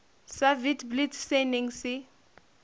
sa witblits se neng se